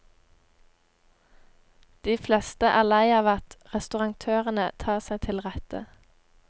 De fleste er lei av at restauratørene tar seg til rette.